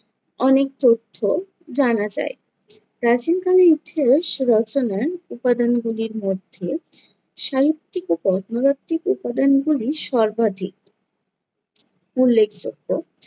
অনেক তথ্য জানা যায়। প্রাচীন কালের ইতিহাস রচনার উপাদান গুলির মধ্যে সাহিত্যিক ও কর্মদ্বাতিক উপাদান গুলি সর্বাধিক উল্লেখযোগ্য।